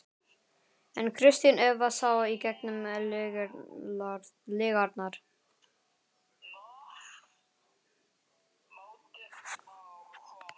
En Kristín Eva sá í gegnum lygarnar.